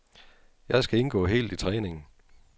Jeg skal indgå helt i træningen.